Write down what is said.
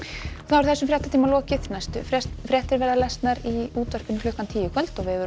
þessum fréttatíma er lokið næstu fréttir verða í útvarpi klukkan tíu í kvöld og vefurinn